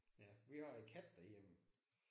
Ja vi har en kat derhjemme